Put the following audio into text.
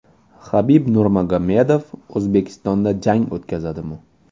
Habib Nurmagomedov O‘zbekistonda jang o‘tkazadimi?